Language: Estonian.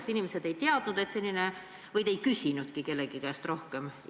Kas inimesed ei teadnud või te ei küsinudki kellegi käest rohkem?